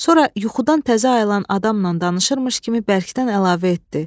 Sonra yuxudan təzə ayılan adamla danışırmış kimi bərkdən əlavə etdi.